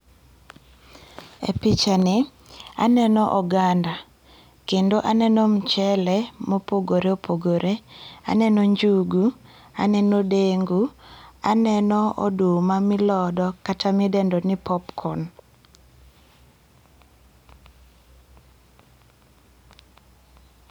E picha ni, aneno oganda, kendo aneno mchele mopogore opogore, aneno njugu, aneno dengu, aneno oduma milodo kata midendo ni popcorn.